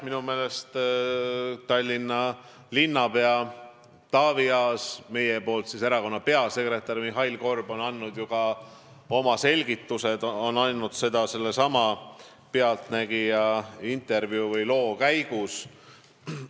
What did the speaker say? Minu meelest on Tallinna linnapea Taavi Aas ja meie erakonna nimel peasekretär Mihhail Korb andnud oma selgitused, nad on andnud need sellesama "Pealtnägija" loo käigus.